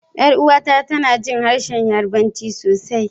Yar uwata tana jin harshen Yarbanci sosai.